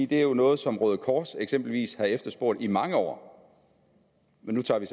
det er jo noget som røde kors eksempelvis har efterspurgt i mange år nu tager vi